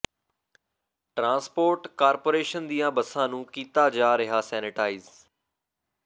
transport corporation ਦੀਆਂ ਬੱਸਾਂ ਨੂੰ ਕੀਤਾ ਜਾ ਰਿਹਾ ਸੈਨੇਟਾਈਜ਼